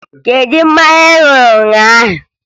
Kedu mmanya ị ṅụrụ ụnyaahụ?